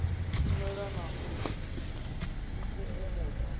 shumela na u d ikukumusa